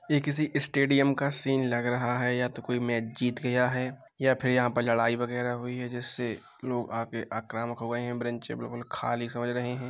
यह किसी स्टेडियम का सीन लग रहा है या तो कोई मैच जीत गया है या फिर लड़ाई वगैरह हुई है जिससे लोग आगे आक्रामक हो गए हैं ब्रेनच पर लोग खाली से लग रहे हैं।